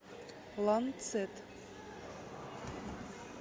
ланцет